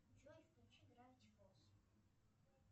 джой включи гравити фолз